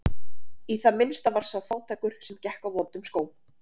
Í það minnsta var sá fátækur sem gekk á vondum skóm.